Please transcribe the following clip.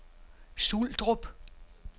Suldrup